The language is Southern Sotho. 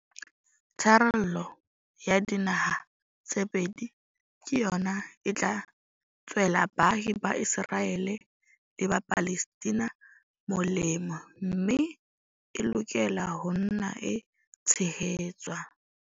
Tharollo ya dinaha tse pedi ke yona e tla tswela baahi ba Iseraele le ba Palestina molemo mme e lokela ho nna e tshehetswa.